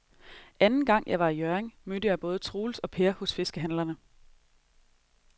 Anden gang jeg var i Hjørring, mødte jeg både Troels og Per hos fiskehandlerne.